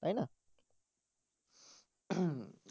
তাই না?